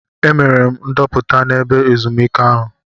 Emere m ndoputa n'ebe ezumike ahụ.